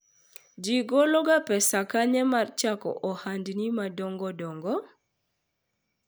ji golo ga pesa kanye mar chako ohandni madongo dongo?